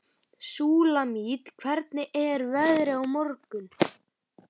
Súlamít, hvernig er veðrið á morgun?